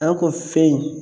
An ko fɛn in